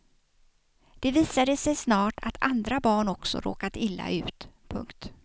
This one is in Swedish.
Det visade sig snart att andra barn också råkat illa ut. punkt